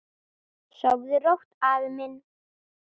Sofðu rótt, afi minn.